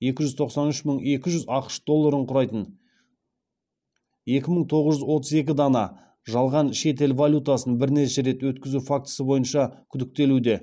екі жүз тоқсан үш мың екі жүз ақш долларын құрайтын екі мың тоғыз жұз отыз екі дана жалған шетел валютасын бірнеше рет өткізу фактісі бойынша күдіктелуде